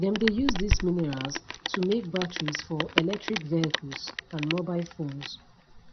dem dey use dis minerals to make batteries for electric vehicles and mobile phones